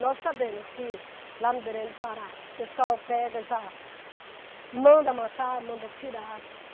Nós sabemos que lá no Belém do Pará, o pessoal pega já, manda matar, manda tirar.